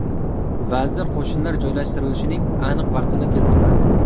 Vazir qo‘shinlar joylashtirilishining aniq vaqtini keltirmadi.